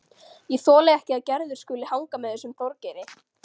Ég þoli ekki að Gerður skuli hanga með þessum Þorgeiri.